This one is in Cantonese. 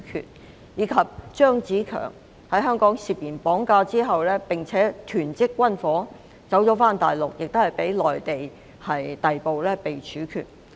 另外一人是張子強，他在香港涉嫌綁架及囤積軍火，逃到大陸後同樣被內地逮捕和處決。